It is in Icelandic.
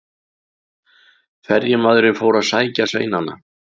Ferjumaðurinn fór að sækja sveinana.